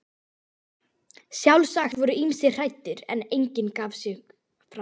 Sjálfsagt voru ýmsir hræddir, en enginn gaf sig fram.